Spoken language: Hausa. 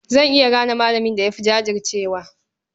Zan iya gane malamin da ya fi jajircewa.